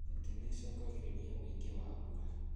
Miti nichungagiriria uingi wa mbura